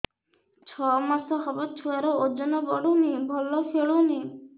ଛଅ ମାସ ହବ ଛୁଆର ଓଜନ ବଢୁନି ଭଲ ଖେଳୁନି